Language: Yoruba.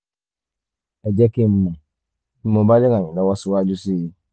ẹ jẹ́ kí n mọ̀ bí mo bá lè ràn yín lọ́wọ́ síwájú sí i i